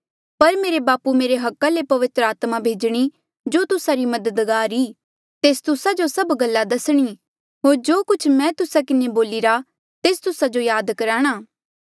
पर मेरे बापू मेरे अधिकारा ले पवित्र आत्मा भेजणी जो तुस्सा री मददगारा ई तेस तुस्सा जो सभ गल्ला दसणी होर जो कुछ मैं तुस्सा किन्हें बोलिरा तेस तुस्सा जो याद कराणा